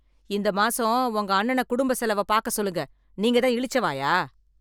இந்த மாசம் உங்க அண்ணனை குடும்ப செலவை பார்க்க சொல்லுங்க. நீங்க தான் இளிச்சவாயா?